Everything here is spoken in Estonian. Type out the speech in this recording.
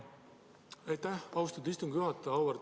Aitäh, austatud istungi juhataja!